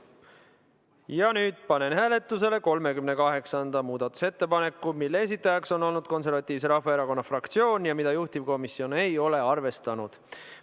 Ja nüüd panen hääletusele 38. muudatusettepaneku, mille on esitanud Konservatiivse Rahvaerakonna fraktsioon ja mida juhtivkomisjon ei ole arvestanud.